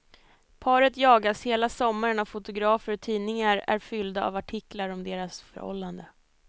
Paret jagas hela sommaren av fotografer och tidningarna är fyllda av artiklar om deras förhållande.